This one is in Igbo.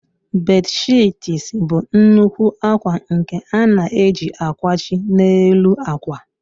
Bedshiits bụ nnukwu akwa nke a na-eji akwachi n'elu akwa.